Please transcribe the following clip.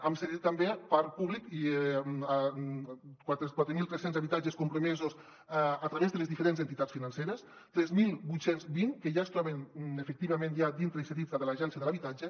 hem cedit també parc públic i quatre mil tres cents habitatges compromesos a través de les diferents entitats financeres tres mil vuit cents i vint que ja es troben efectivament dintre i cedits a l’agència de l’habitatge